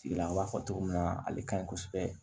Tigila b'a fɔ cogo min na ale ka ɲi kosɛbɛ